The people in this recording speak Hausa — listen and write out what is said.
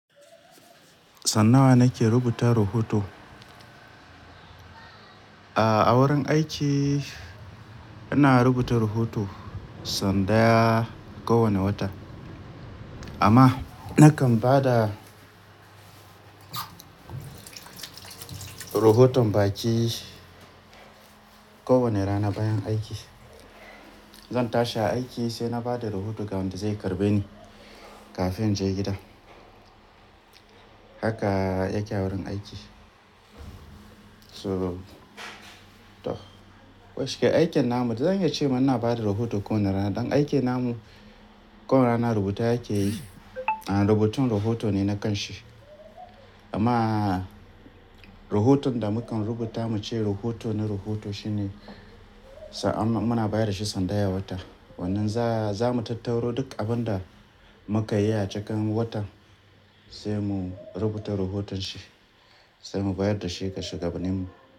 San nawa nake rubuta rahoto. A wurin aiki ina rubuta rahoto san daya kowane wata. Amma nakan ba da rahoton baƙi kowane rana bayan aiki. Zan tashi aiki sai na ba da rahoto ga wanda zai karɓe ni kafin in je gida. Haka yake a wurin aiki. So toh, koda shike aikin namu da zan iya ce muna ba da rahoto kowane rana. Dan aikin namu kowane rana rubuta yake yi, a rubutun rahoto ne na ƙanshi. Amma rahoton da mukan rubuta mu ce rahoto na rohoto shine muna bayar da shi san daya wata. Wannan za mu tattaro duk abin da muka yi a cikin watan sai mu rubuta rahoton shi, sai mu bayar da shi ga shugabaninmu.